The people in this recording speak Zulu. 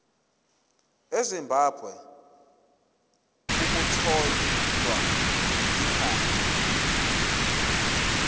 ezimbabwe ukuthola ikhambi